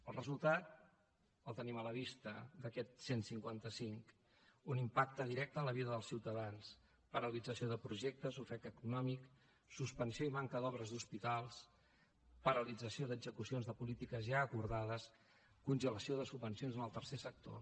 el resultat el tenim a la vista d’aquest cent i cinquanta cinc un impacte directe en la vida dels ciutadans paralització de projectes ofec econòmic suspensió i manca d’obres a hospitals paralització d’execucions de polítiques ja acordades congelació de subvencions en el tercer sector